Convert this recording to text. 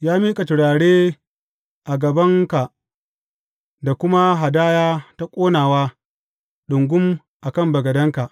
Ya miƙa turare a gabanka da kuma hadaya ta ƙonawa ɗungum a kan bagadenka.